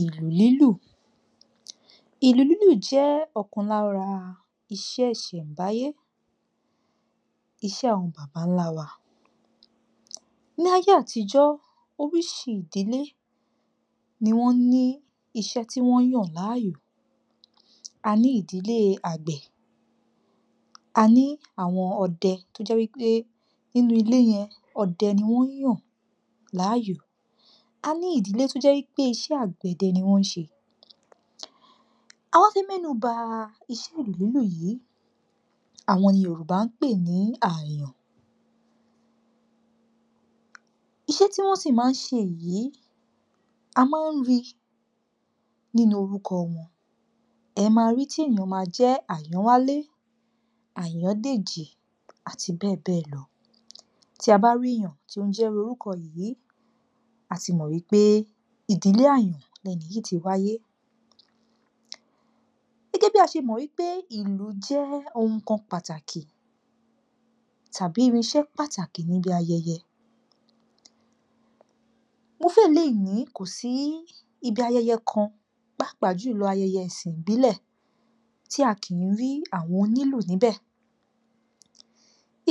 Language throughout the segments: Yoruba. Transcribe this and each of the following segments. Ìlù lílù. Ìlù lílù jẹ́ ọ̀kan lára iṣẹ́ ìṣẹ̀nbáyé, iṣẹ́ àwọn bàbá ńlá wa. Ní ayé àtijọ́, orísìí ìdílé ni wọ́n ni iṣe ̣́tí wọ́n yán láàyò. A ní ìdílé àgbẹ̀, a ní àwọn ọdẹ, tó jẹ́ wípé nínú ilé yẹn, ọdẹ ni wọ́n yàn láàyò. A ní ìdílé tó jẹ́ wípé iṣẹ́ àgbẹ̀dẹ ni wọ́n ń ṣe. Awá fẹ́ mẹ́nuba iṣẹ́ ìlù lílù yìí, àwọn ni Yorùbá ń pè ni àyàn. Iṣẹ́ tí wọ́n sì máa ń ṣe yìí, a máa ń rí nínú orúkọ wọn, e máa rí tí ènìyàn máa jẹ́ Àyànwálé, Àyàndèjì, àti bẹ́ẹ̀ bẹ́ẹ̀ lọ. Tí a bá rí èèyàn tó ń jẹ́ irú orúkọ yìí, a ti mọ̀ wípé ìdílé àyàn ni ẹni yìí ti wáyé. Gẹ́gẹ́ bí a ṣe mọ̀ wípé ìlù jẹ́ ohun kan pàtàkì tàbí irinṣẹ́ pàtàkì níbi ayẹyẹ, mo fẹ́rẹ̀ lè ní kò sí ibi ayẹyẹ kan, pàápàá jùlọ ayẹyẹ ẹ̀sìn ìbílẹ̀, tí a kì í rí àwọn onílù níbẹ̀,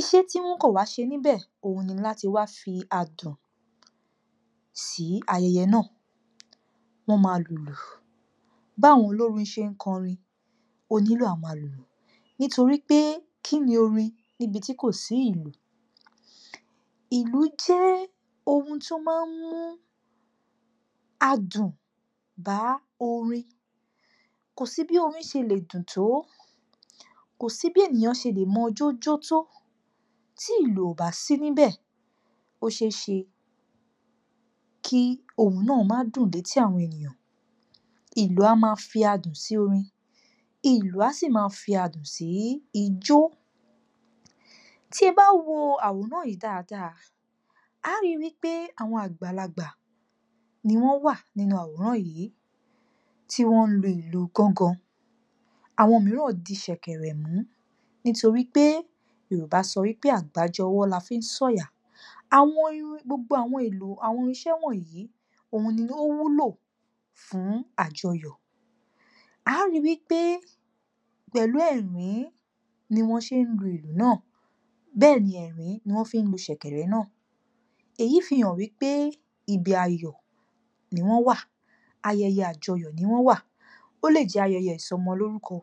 iṣẹ́ tí wọ́n kàn wá ṣe níbẹ̀ òhun ní láti wá fí adùn sí ayẹyẹ náà, wọ́n máa lùlù, báwọn olórin ṣe ń kọrin, onílù á máa lùlù, nítorí pé kíni orin níbi tí kò sí ìlù. Ìlù jẹ́ ohun tó máa ń mú adùn bá orin. Kò sí bí orin ṣe lè dùn tó, kò sí bí ènìyàn ṣe lè mọjó jó tó, tí ìlù ò bá sí níbẹ̀, ó ṣe é ṣe kí ohun náà má dùn létí àwọn ènìyàn, ìlù a máa fi adùn sí orin, ìlù a sì máa fi adùn sí ijó. Tí ẹ bá wo àwòrán yìí dáadáa, a ó ri wípé àwọn àgbàlagbà ni wọ́n wà nínú àwòrán yìí, tí wọ́n ń lu ìlù gángan, àwọn mìíràn di ṣẹ̀kẹ̀rẹ̀ mú, nítorí pé, Yorùbá sọ wípé àgbájọwọ́ la fi ń sọ̀yà, àwọn irin, gbogbo àwọn èlò, àwọn irinṣẹ́ wọ̀nyí òhun ni ó wúlò fún àjọyọ̀. A ó ri wípé pẹ̀lú ẹ̀rín ni wọ́n ṣe ń lu ìlù náà, bẹ́ẹ̀ ni ẹ̀rín ni wọ́n fi ń lu ṣẹ̀kẹ̀rẹ̀ náà, èyí fi hàn wípé ibi ayọ̀ ni wọ́n wà, ayẹyẹ àjọyọ̀ ni wọ́n wà, ó lè jẹ́ ayẹyẹ ìsọmọlórúkọ,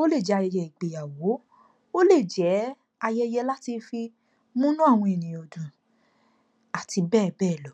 ó lè jẹ́ ayẹyẹ ìgbéyàwó, ó lè jẹ́ ayẹyẹ láti fi múnú àwọn ènìyàn dùn, àti bẹ́ẹ̀ bẹ́ẹ̀ lọ.